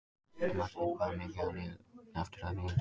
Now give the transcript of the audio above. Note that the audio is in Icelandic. Marteinn, hvað er mikið eftir af niðurteljaranum?